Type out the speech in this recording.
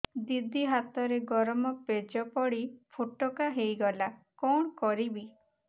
ଦିଦି ହାତରେ ଗରମ ପେଜ ପଡି ଫୋଟକା ହୋଇଗଲା କଣ କରିବି